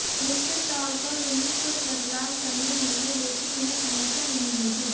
निश्चित तौर पर उन्हें कुछ बदलाव करने होंगे लेकिन यह समस्या नहीं होगी